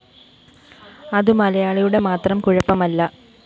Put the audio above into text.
അതു മലയാളിയുടെ മാത്രം കുഴപ്പമല്ല